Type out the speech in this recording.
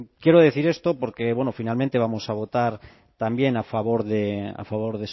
quiero decir esto porque bueno finalmente vamos a votar también a favor